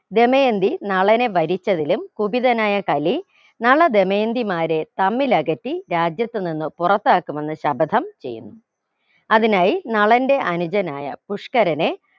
ദമയന്തി നളനെ വരിച്ചതിലും കുപിതനായ കലി നള ദമയന്തിമാരെ തമ്മിലകറ്റി രാജ്യത്തു നിന്ന് പുറത്താക്കുമെന്ന് ശപഥം ചെയ്യുന്നു അതിനായി നളന്റെ അനുജനായ പുഷ്കരനെ